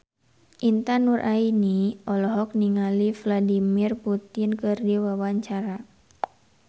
Intan Nuraini olohok ningali Vladimir Putin keur diwawancara